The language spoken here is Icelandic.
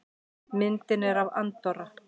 Myndin er af Andorra.